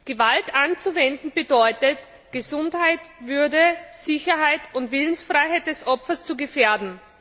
Gewalt anzuwenden bedeutet, Gesundheit, Würde, Sicherheit und Willensfreiheit des Opfers zu gefährden.